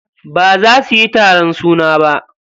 Baza suyi taron suna ba.